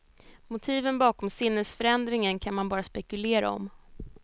Motiven bakom sinnesförändringen kan man bara spekulera om.